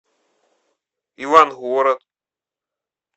ивангород